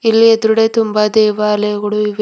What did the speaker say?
ಇಲ್ಲಿ ಎದ್ರುಡೆ ತುಂಬ ದೇವಾಲಯಗಳು ಇವೆ.